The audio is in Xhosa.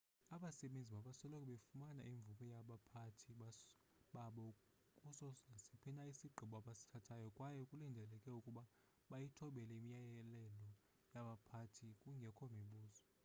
abasebenzi mabasoloko befumane imvume yabaphathi babo kuso nasiphi na isigqibo abasithathayo kwaye kulindeleke ukuba bayithobele imiyalelo yabaphathi kungekho mibuzo